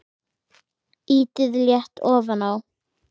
Ýtið létt ofan á.